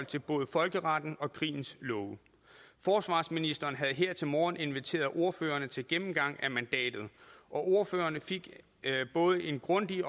til både folkeretten og krigens love forsvarsministeren havde her til morgen inviteret ordførerne til en gennemgang af mandatet og ordførerne fik en både grundig